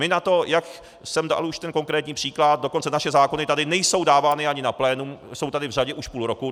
My na to, jak jsem dal už ten konkrétní příklad, dokonce naše zákony tady nejsou dávány ani na plénum, jsou tady v řadě už půl roku.